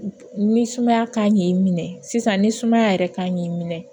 Ni sumaya kan k'i minɛ sisan ni sumaya yɛrɛ kan k'i minɛ